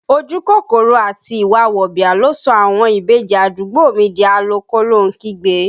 Ojú kòkòrò àti ìwà wọ̀bìà ló sọ àwọn ìbejì àdúgbò mi di a lọ kólóhun kígbe